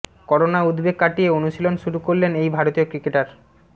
corona উদ্বেগ কাটিয়ে অনুশীলন শুরু করলেন এই ভারতীয় ক্রিকেটার